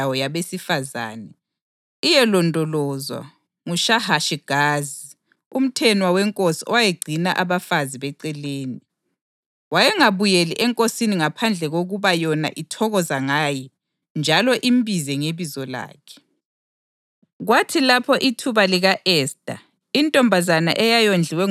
Ntambama yayisiya esigodlweni kuthi ekuseni ibuyele kweyinye indawo yabesifazane iyelondolozwa nguShahashigazi, umthenwa wenkosi owayegcina abafazi beceleni. Wayengabuyeli enkosini ngaphandle kokuba yona ithokoza ngaye njalo imbize ngebizo lakhe.